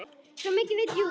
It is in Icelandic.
Svo mikið veit Júlía.